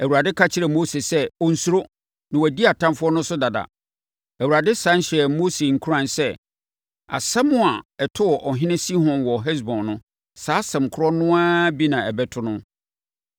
Awurade ka kyerɛɛ Mose sɛ ɔnnsuro na wadi atamfoɔ no so dada. Awurade sane hyɛɛ Mose nkuran sɛ asɛm a ɛtoo ɔhene Sihon wɔ Hesbon no, saa asɛm korɔ no ara bi na ɛbɛto no.